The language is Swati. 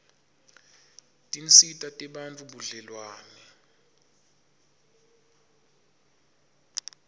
tinsita tebantfu budlelwane